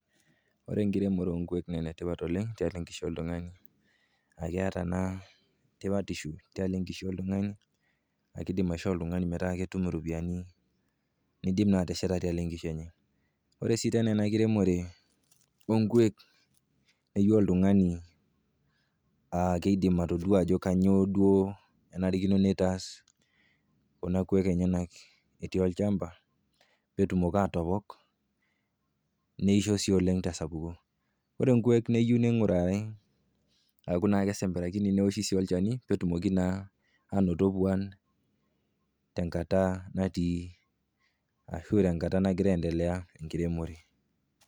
Ore enkiremore onkuek naa enetipat oleng tiatua enkishui oltung'ani a keata naa tipatishu te nkishui oltung'ani, keidim aishoo oltung'ani iropiani nidim sii atesheta tialo enkishui enye. Ore sii tena ena kiremore o nkuek neyeu oltung'ani naa keidim atodua ajo kanyoo duo enarikino neitaas kuna kuek enyena etii olchamba pee etumoki atopok, neisho sii oleng tesapuko. Ore nkuek neyeu neing'urari a keyeu nesemberakini neoshi olchani peetumoki naa ainoto puan tenkata natii ashu tenkata nagira aendelea enkiremore.